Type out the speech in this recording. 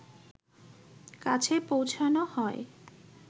কাছে পৌঁছানো হয়